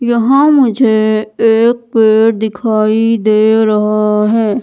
यहां मुझे एक पेड़ दिखाई दे रहा है।